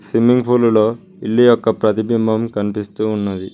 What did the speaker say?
Swimming ఫూలులో లో ఇల్లు యొక్క ప్రతిబింబం కనిపిస్తూ ఉన్నది.